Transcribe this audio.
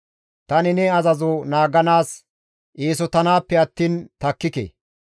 Tani ne azazo naaganaas eesotanaappe attiin takkike.